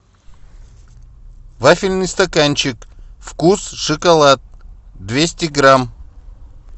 вафельный стаканчик вкус шоколад двести грамм